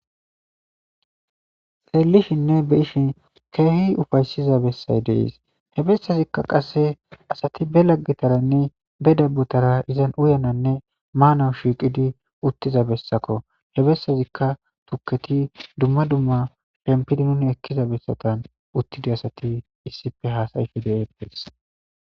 Leellishinne be ishin keehi ufaysiza bessay dees he bessazikka qasse asati be laggitaranne be dabutara izan uyananne maanawu shiiqidi uttiza bessako he bessazikka tukketi dumma dumma penpidi nun ekkiza bessatan uttidi asati issife haasayife de7eppes